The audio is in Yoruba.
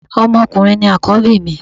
Ọmọ ọkùnrin ni Àkọ́bí mi